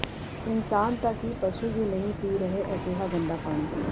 ਇਨਸਾਨ ਤਾਂ ਕੀ ਪਸ਼ੂ ਵੀ ਨਹੀਂ ਪੀ ਰਹੇ ਅਜਿਹਾ ਗੰਦਾ ਪਾਣੀ